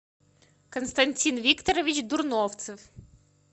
константин викторович дурновцев